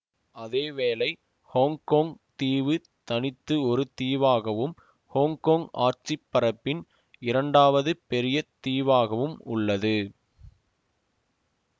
அதேவேளை ஹொங்கொங் தீவு தனித்து ஒரு தீவாகவும் ஹொங்கொங் ஆட்சி பரப்பின் இரண்டாவது பெரிய தீவாகவும் உள்ளது